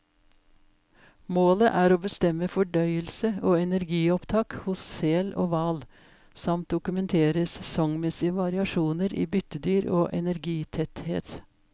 Målet er å bestemme fordøyelse og energiopptak hos sel og hval, samt dokumentere sesongmessige variasjoner i byttedyr og energitetthet.